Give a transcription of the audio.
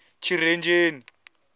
tshirenzheni